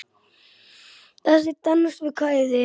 Þessi dans við kvæði.